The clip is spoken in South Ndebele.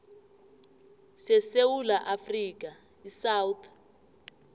sesewula afrika isouth